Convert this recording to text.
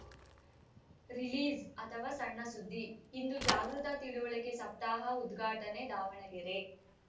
release ಅಥವ ಸಣ್ಣ ಸುದ್ದಿ ಇಂದು ಜಾಗೃತ ತಿಳುವಳಿಕೆ ಸಪ್ತಾಹ ಉದ್ಘಾಟನೆ ದಾವಣಗೆರೆ